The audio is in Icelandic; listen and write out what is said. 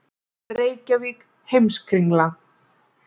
Reykjavík: Heimskringla.